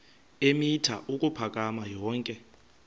eemitha ukuphakama yonke